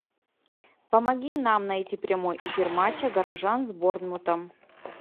помоги нам найти прямой эфир матча горожан с борнмутом